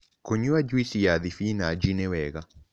Kũnyua jũĩsĩ ya spĩnach nĩwega